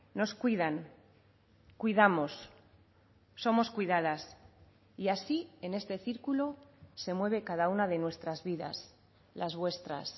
nos cuidan cuidamos somos cuidadas y así en este círculo se mueve cada una de nuestras vidas las vuestras